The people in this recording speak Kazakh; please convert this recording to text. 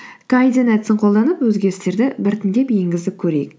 әдісін қолданып өзгерістерді біртіндеп енгізіп көрейік